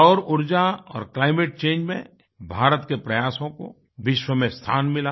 सौर ऊर्जा और क्लाइमेट चंगे मेंभारत के प्रयासों को विश्व में स्थान मिला